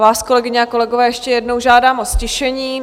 Vás, kolegyně a kolegové, ještě jednou žádám o ztišení.